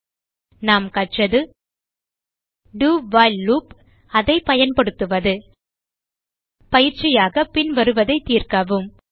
இதில் நாம் கற்றது do வைல் லூப் அதை பயன்படுத்துவது பயிற்சியாக பின்வருவதை தீர்க்கவும்